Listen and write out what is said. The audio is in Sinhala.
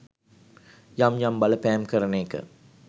යම් යම් බලපෑම් කරන එක